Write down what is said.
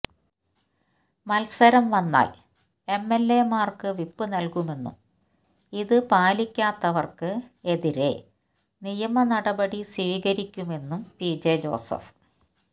മത്സരം വന്നാൽ എംഎൽഎമാർക്ക് വിപ്പ് നൽകുമെന്നും ഇത് പാലിക്കാത്തവർക്ക് എതിരെ നിയമ നടപടി സ്വീകരിക്കുമെന്നും പിജെ ജോസഫ്